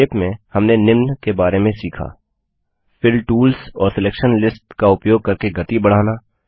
संक्षेप में हमने निम्न बारे में सीखा फिल टूल्स और सिलेक्सन लिस्ट्स का उपयोग करके गति बढ़ना